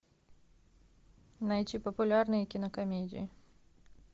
найти популярные кинокомедии